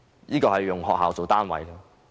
這是以學校為單位。